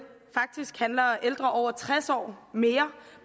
faktisk handler ældre over tres år mere